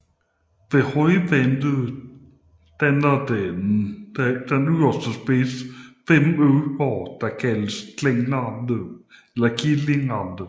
Ved højvande danner dens yderste spids fem øer der kaldes for Killingerne